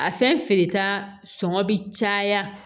A fɛn feereta sɔngɔ bi caya